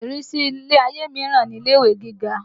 Ìrísí ilé-ayé míràn ni ilé-ìwé gíga